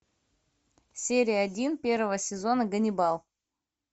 серия один первого сезона ганнибал